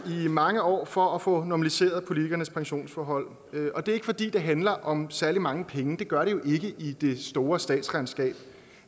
i mange år for at få normaliseret politikernes pensionsforhold og det er ikke fordi det handler om særlig mange penge det gør det jo ikke i det store statsregnskab